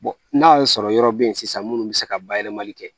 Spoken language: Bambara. n'a y'a sɔrɔ yɔrɔ bɛ yen sisan minnu bɛ se ka bayɛlɛmali kɛ